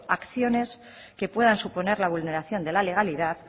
acciones que puedan suponer la vulneración de la legalidad